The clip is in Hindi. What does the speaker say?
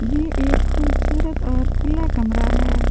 ये एक खुबसूरत और खुला कमरा हैं ।